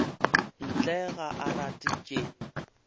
ntle ga a rate tše